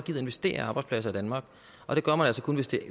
investere i arbejdspladser i danmark og det gør man altså kun hvis det